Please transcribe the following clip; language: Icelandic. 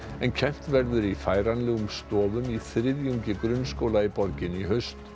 en kennt verður í færanlegum stofum í þriðjungi grunnskóla í borginni í haust